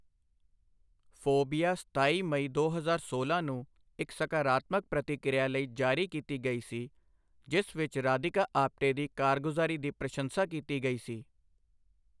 Phobia ਸਤਾਈ ਮਈ ਦੋ ਹਜ਼ਾਰ ਸੋਲਾਂ ਨੂੰ ਇੱਕ ਸਕਾਰਾਤਮਕ ਪ੍ਰਤੀਕਿਰਿਆ ਲਈ ਜਾਰੀ ਕੀਤੀ ਗਈ ਸੀ, ਜਿਸ ਵਿੱਚ ਰਾਧਿਕਾ ਆਪਟੇ ਦੀ ਕਾਰਗੁਜ਼ਾਰੀ ਦੀ ਪ੍ਰਸ਼ੰਸਾ ਕੀਤੀ ਗਈ ਸੀ।